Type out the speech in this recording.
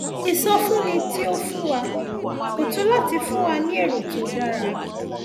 ìsọfúnni tí o fún wa kò tó láti fún wa ní èrò tó dára